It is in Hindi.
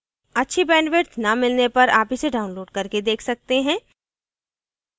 अच्छी bandwidth न मिलने पर आप इसे download करके देख सकते हैं